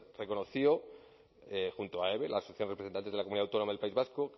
reconoció junto a eve la sociedad de representantes de la comunidad autónoma del país vasco